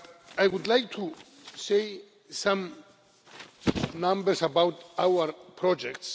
I would like to give some numbers about our projects.